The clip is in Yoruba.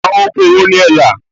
Àwọn oko wo ni ẹ là?